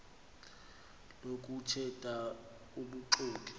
lokuthe tha ubuxoki